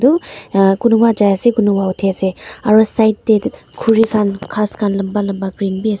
aru kunuba jai ase kunuba uthi ase aro side te khuri khan ghas khan lamba lamba green bi ase.